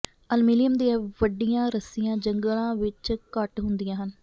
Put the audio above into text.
aluminium ਦੀਆਂ ਵੱਡੀਆਂ ਰੱਸੀਆਂ ਜੰਗਲਾਂ ਵਿਚ ਘੱਟ ਹੁੰਦੀਆਂ ਹਨ